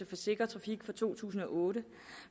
for sikker trafik fra to tusind og otte